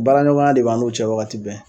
Baraɲɔgɔnya de b'an n'u cɛ wagati bɛɛ